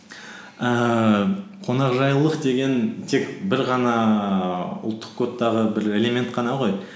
ііі қонақжайлылық деген тек бір ғана ұлттық кодтағы бір элемент қана ғой